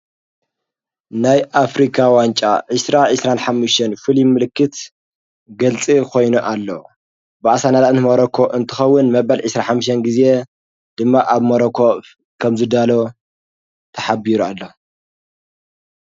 ናይ ኣፍሪካ ዋንጫ ዕሥራ ዕስራን ኃምሽን ፊልም ምልክት ገልጽ ኾይኖ ኣሎ ብኣሣ ናላእንቲ መረኮ እንትኸውን መበል ዕሥራ ሓምሴን ጊዜ ድማ ኣብ መሮኮ ከምዝዳሎ ተሓቢሩ ኣሎ።